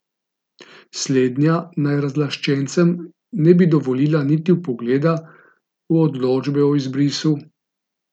Slednja naj razlaščencem ne bi dovolila niti vpogleda v odločbe o izbrisu.